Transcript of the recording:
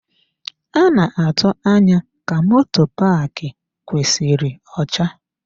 A na-atụ anya ka moto paaki kwesịrị ọcha.